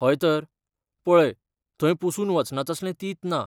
हयतर. पळय, थंय पुसून वचना तसलें तींत ना.